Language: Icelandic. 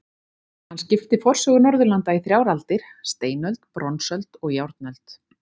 Hann skipti forsögu Norðurlanda í þrjár aldir: steinöld, bronsöld og járnöld.